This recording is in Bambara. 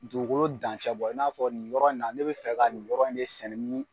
Dugu dancɛbɔ in n'a fɔ nin yɔrɔ in na ne bɛ fɛ ka nin yɔrɔ in de sɛnɛ